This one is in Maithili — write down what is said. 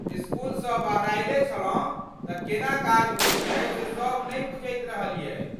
इसकुलसँ बहरायले छलहुँ तऽ केना काज होयत छै से सभ नहि बुझैत रहियै ।